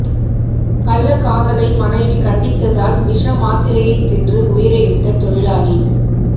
கள்ளக்காதலை மனைவி கண்டித்ததால் விஷ மாத்திரையை தின்று உயிரை விட்ட தொழிலாளி